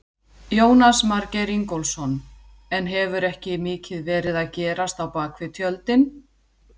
Jónas Margeir Ingólfsson: En hefur ekki mikið verið að gerast á bakvið tjöldin?